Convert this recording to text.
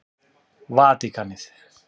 Vatíkanið